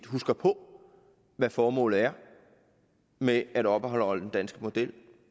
husker på hvad formålet er med at opretholde den danske model